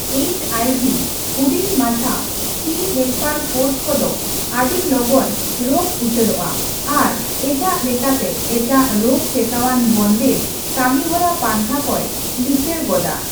HIV ᱦᱩᱰᱤᱧ ᱢᱟᱪᱷᱟ T helper ᱠᱳᱥ ᱠᱚᱫᱚ ᱟᱰᱤᱞᱚᱜᱚᱱ ᱨᱳᱜᱽ ᱩᱪᱟᱹᱲᱚᱜᱼᱟ ᱟᱨ ᱮᱴᱟᱜ ᱞᱮᱠᱟᱛᱮ ᱮᱴᱟᱜ ᱨᱳᱜᱽ ᱴᱮᱠᱟᱣᱟᱱ ᱵᱚᱱᱫᱮᱡᱽ ᱠᱟᱹᱢᱤ ᱦᱚᱨᱟ ᱯᱟᱱᱛᱷᱟ ᱠᱚᱭ ᱞᱤᱪᱟᱹᱲ ᱜᱚᱫᱟ ᱾